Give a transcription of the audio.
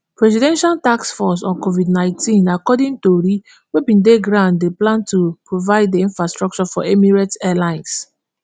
presidential task force on covidnineteen [ptf] according tori wey bin dey ground dey plan to provide di infrastructure for emirates airlines